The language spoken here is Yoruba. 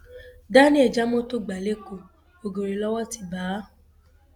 daniel já mọtò gbà lẹkọọ ọgẹrẹ lowó ti bá a